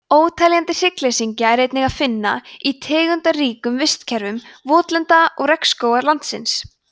óteljandi hryggleysingja er einnig að finna í tegundaríkum vistkerfum votlenda og regnskóga landsins